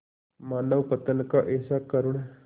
मानवपतन का ऐसा करुण